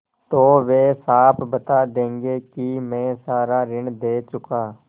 तो वे साफ बता देंगे कि मैं सारा ऋण दे चुका